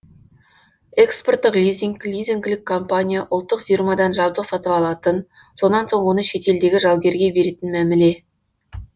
экспорттық лизинг лизингілік компания ұлттық фирмадан жабдық сатып алатын сонан соң оны шетелдегі жалгерге беретін мәміле